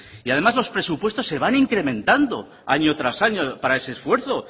y además los presupuestos se van incrementando año tras año para ese esfuerzo